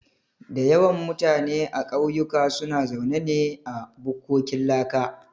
Da yawan mutane a kauyuka suna zaune ne a bukkokin laka